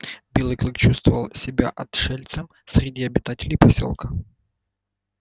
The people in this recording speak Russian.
белый клык чувствовал себя отшельцем среди обитателей посёлка